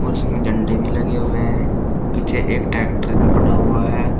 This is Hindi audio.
इसमें झंडे भी लगे हुए हैं पीछे एक ट्रैक्टर भी खड़ा हुआ है।